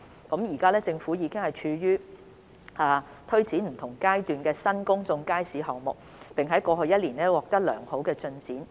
政府現正推展7個處於不同階段的新公眾街市項目，並在過去1年取得良好進展。